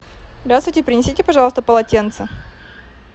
здравствуйте принесите пожалуйста полотенце